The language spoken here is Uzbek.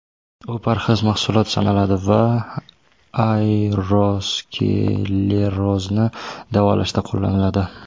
U parhez mahsulot sanaladi va aterosklerozni davolashda qo‘llaniladi.